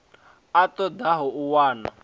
a ṱo ḓaho u wana